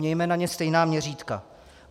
Mějme na ně stejná měřítka.